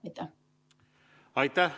Aitäh!